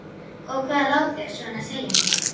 Og hvað lá þér svona á að segja mér?